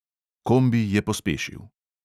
Kombi je pospešil.